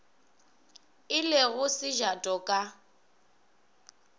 e le go sejato ka